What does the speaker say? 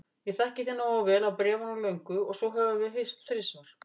Ég þekki þig nógu vel af bréfunum löngu og svo höfum við hist þrisvar.